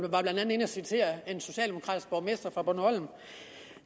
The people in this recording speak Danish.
citerede blandt en socialdemokratisk borgmester fra bornholm